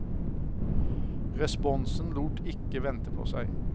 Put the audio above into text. Responsen lot ikke vente på seg.